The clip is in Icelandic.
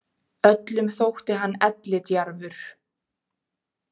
Öllum þótti hann ellidjarfur,